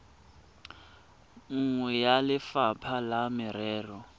nngwe ya lefapha la merero